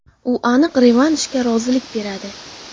U aniq revanshga rozilik beradi.